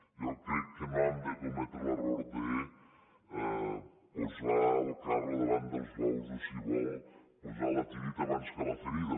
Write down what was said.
jo crec que no hem de cometre l’error de posar el carro davant dels bous o si vol posar la tireta abans de la ferida